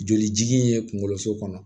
Jolijigin in ye kunkoloso kɔnɔ